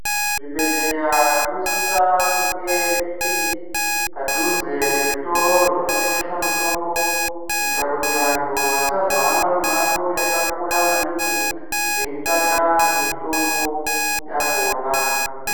Zvibhehleya zvinosisa kunge zviri padhuze ngezvitiro zvinotengesa mitombo kuitira kuti vantu vasazohamba mimango yakakura maningi veitsvaka mitombo yakhona.